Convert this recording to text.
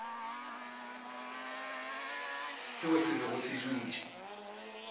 seo se bego se dutše